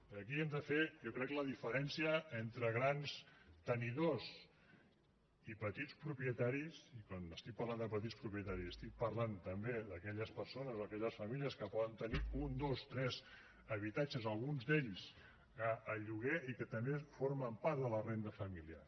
aquí hem de fer jo crec la diferència entre grans tenidors i petits propietaris i quan estic parlant de petits propietaris estic parlant també d’aquelles persones o aquelles famílies que poden tenir un dos tres habitatges alguns d’ells a lloguer i que també formen part de la renda familiar